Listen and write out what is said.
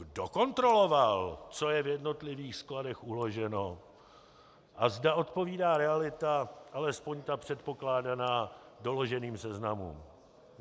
Kdo kontroloval, co je v jednotlivých skladech uloženo a zda odpovídá realita, alespoň ta předpokládaná, doloženým seznamům?